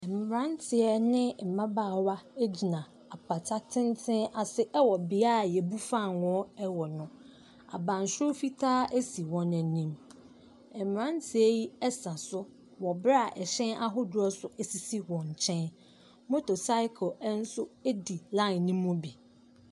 Mmerante ne mmabaawa gyina apata tenten ase wɔ bea a wɔbu fangoo wɔ no, abansoro fitaa si wɔn anim, mmeranteɛ yi ɛsa so wɔ berɛ a hyɛn ahodoɔ nso sisi wɔn nkyɛn, motorcycle nso di line ne mu bi.